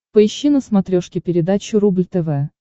поищи на смотрешке передачу рубль тв